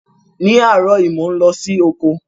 Ní áàrọ̀ yi, mo n lọ si oko